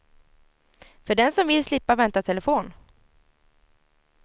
För den som vill slippa vänta i telefon.